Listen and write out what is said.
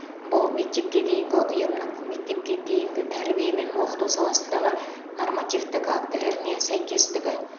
бұл мектепке дейінгі ұйымның мектепке дейінгі тәрбие мен оқыту саласындағы нормативтік актілерге сәйкестігі